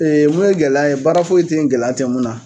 mun ye gɛlɛya ye baara foyi tɛ yen gɛlɛya tɛ mun na.